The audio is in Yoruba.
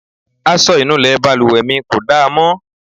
Aṣọ ìnulẹ̀ balùwẹ̀ mi kò da mọ́.